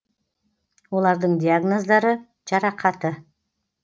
олардың диагноздары жарақаты